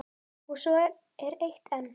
Og svo er eitt enn.